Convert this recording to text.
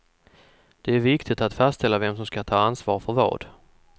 Det är viktigt att fastställa vem som ska ta ansvar för vad.